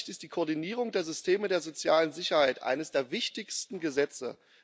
Aus meiner Sicht ist die Koordinierung der Systeme der sozialen Sicherheit eines der wichtigsten Gesetze.